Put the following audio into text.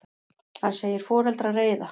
Hann segir foreldra reiða.